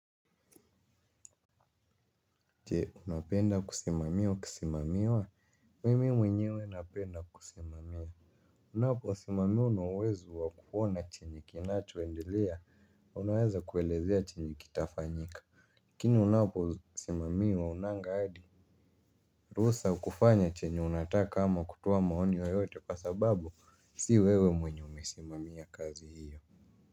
Je unapenda kusimamia au kusimamiwa? Mimi mwenyewe napenda kusimamia unaposimamia una uwezo wa kuona chenye kinachoendelea unaweza kuelezea chenye kitafanyika lakini unaposimamiwa haunanga hadi rusa ya kufanya chenye unataka ama kutoa maoni yoyote kwa sababu si wewe mwenye umesimamia kazi hiyo.